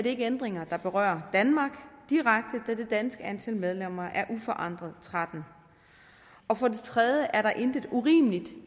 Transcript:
ikke ændringer der berører danmark direkte da det danske antal medlemmer uforandret er trettende og for det tredje er der intet urimeligt